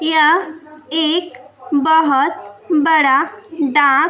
यह एक बहोत बड़ा डाक--